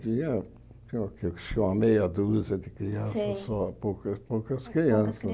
Tinha tinha o que acho que uma meia dúzia de crianças Sei Só, poucas poucas crianças.